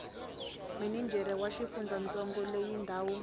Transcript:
minijere wa xifundzantsongo loyi ndhawu